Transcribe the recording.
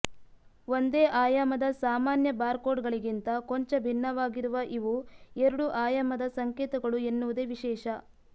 ಒಂದೇ ಆಯಾಮದ ಸಾಮಾನ್ಯ ಬಾರ್ಕೋಡ್ಗಳಿಗಿಂತ ಕೊಂಚ ಭಿನ್ನವಾಗಿರುವ ಇವು ಎರಡು ಆಯಾಮದ ಸಂಕೇತಗಳು ಎನ್ನುವುದೇ ವಿಶೇಷ